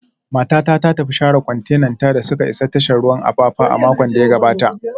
Matata ta tafi share kwantenanta da suka isa tashar ruwan Apapa a makon da ya gabata